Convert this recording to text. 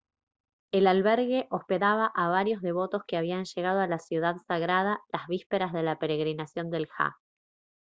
el albergue hospedaba a varios devotos que habían llegado a la ciudad sagrada las vísperas de la peregrinación del hajj